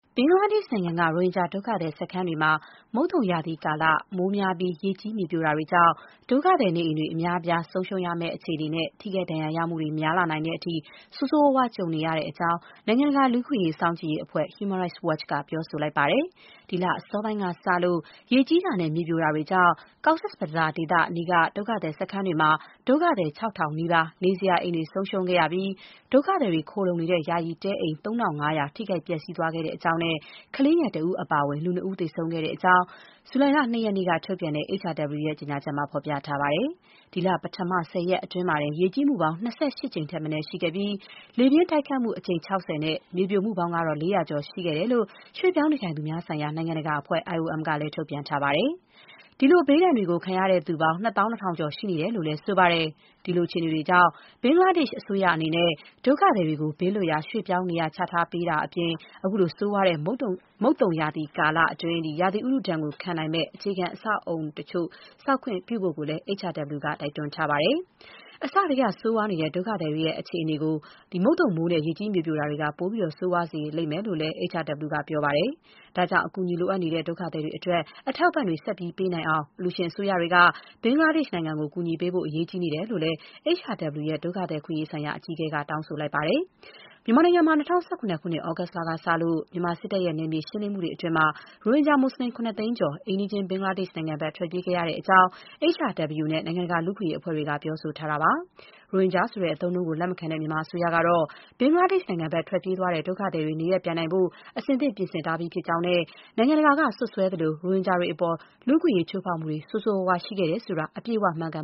ဘင်္ဂလားဒေ့ရှ်နိုင်ငံက ရိုဟင်ဂျာ ဒုက္ခသည်စခန်းတွေမှာ မုတ်သုံရာသီကာလ မိုးများပြီး ရေကြီး မြေပြိုတာတွေကြောင့် ဒုက္ခသည် နေအိမ်တွေ အများအပြား ဆုံးရှုံးရမယ့်အခြေအနေနဲ့ ထိခိုက်ဒဏ်ရာရမှုတွေ များလာနိုင်တဲ့အထိ ဆိုးဆိုးရွားရွား ကြုံနေရတဲ့အကြောင်း နိုင်ငံတကာ လူ့အခွင့်အရေး စောင့်ကြည့်မှုအဖွဲ့ Human Rights Watch က ပြောပါတယ်။ ဒီလ အစောပိုင်းကစလို့ ရေကြီးတာနဲ့ မြေပြိုတာတွေကြောင့် Cox’s Bazar ဒေသအနီးက ဒုက္ခသည်စခန်းတွေမှာ ဒုက္ခသည် ၆,၀၀၀ နီးပါး နေစရာအိမ်တွေ ဆုံးရှုံးခဲ့ရပြီး ဒုက္ခသည်တွေခိုလုံနေတဲ့ ယာယီတဲအိမ် ၃၅၀၀ ထိခိုက်ပျက်စီးသွားခဲ့ကြောင်း၊ ကလေးငယ်တဦးအပါအဝင် လူ နှစ် ဦးသေဆုံးခဲ့တဲ့အကြောင်း ဇူလိုင်လ ၂ ရက်နေ့က ထုတ်ပြန်တဲ့ HRW ရဲ့ ကြေညာချက်မှာ ဖော်ပြထားပါတယ်။ ဒီလ ပထမ ၁၀ ရက်အတွင်း ရေကြီးမှုပေါင်း ၂၈ ကြိမ်ထက်မနည်း ရှိခဲ့ပြီး လေပြင်းတိုက်ခတ်မှု အကြိမ် ၆၀ နဲ့ မြေပြိုမှုပေါင်းကတော့ ၄၀၀ ကျော်ရှိခဲ့တဲ့အကြောင်း ရွှေ့ပြောင်းနေထိုင်သူများဆိုင်ရာ နိုင်ငံတကာအဖွဲ့ IOM ကလည်း ထုတ်ပြန်ထားပါတယ်။ ဒီလို ဘေးဒဏ်တွေကိုခံရသူပေါင်း ၂၂,၀၀၀ ကျော်ရှိနေတယ်လို့လည်း ဆိုပါတယ်။ ဒီလို အခြေအနေတွေကြောင့် ဘင်္ဂလားဒေ့ရှ်အစိုးရအနေနဲ့ ဒုက္ခသည်တွေကို ဘေးလွတ်ရာ ရွှေ့ပြောင်းနေရာချပေးတာအပြင် ခုလို ဆိုးရွားတဲ့ မုတ်သုံရာသီ ကာလအတွင်း ရာသီဥတုဒဏ် ခံနိုင်မယ့် အဆောက်အအုံတချို့ ဆောက်ခွင့်ပေးဖို့လည်း HRW က တိုက်တွန်းထားပါတယ်။ အစကတည်းက ဆိုးရွားနေတဲ့ ဒုက္ခသည်တွေရဲ့ အခြေအနေကို မုန်သုံမိုးနဲ့ ရေကြီးမြေပြိုမှုတွေက ပိုပြီး ဆိုးရွားစေခဲ့တယ်လို့လည်း HRW က ပြောပါတယ်။ ဒါကြောင့် အကူအညီလိုအပ်နေတဲ့ ဒုက္ခသည်တွေအတွက် အထောက်အပံ့တွေ ဆက်ပြီး ပေးနိုင်အောင် အလှူရှင်အစိုးရတွေက ဘင်္ဂလားဒေ့ရှ်နိုင်ငံကို ကူညီပေးဖို့ အရေးကြီးနေတယ်လို့လည်း HRW ရဲ့ ဒုက္ခသည်အခွင့်အရေးဆိုင်ရာ အကြီးအကဲက တောင်းဆိုခဲ့ပါတယ်။ မြန်မာနိုင်ငံမှာ ၂၀၁၇ ခုနှစ် သြဂုတ်ကစလို့ မြန်မာစစ်တပ်ရဲ့ နယ်မြေရှင်းလင်းမှုတွေအတွင်း ရိုဟင်ဂျာမူစလင် ၇၀၀,၀၀၀ ကျော် အိမ်နီးရှင်း ဘင်္ဂလားဒေ့ရှ်နိုင်ငံဘက် ထွက်ပြေးခဲ့ရတဲ့အကြောင်း HRW နဲ့ နိုင်ငံတကာ လူ့အခွင့်အရေးအဖွဲ့တွေက ပြောဆိုထားတာပါ။ ရိုဟင်ဂျာဆိုတဲ့ အသုံးအနှုန်းကို လက်မခံတဲ့ မြန်မာအစိုးရကတော့ ဘင်္ဂလားဒေ့ရှ်ဘက် ထွက်ပြေးသွားတဲ့ ဒုက္ခသည်တွေ နေရပ်ပြန်နိုင်ဖို့ အဆင်သင့် ပြင်ဆင်ထားကြောင်းနဲ့ နိုင်ငံတကာက စွပ်စွဲသလို ရိုဟင်ဂျာတွေအပေါ် လူ့အခွင့်အရေး ချိုးဖောက်မှုတွေ ဆိုးဆိုးရွားရွား ရှိခဲ့တယ်ဆိုတာ အပြည့်အဝ မမှန်ကန်